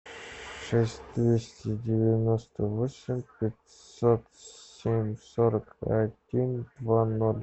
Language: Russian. шесть двести девяносто восемь пятьсот семь сорок один два ноль